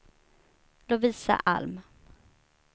Lovisa Alm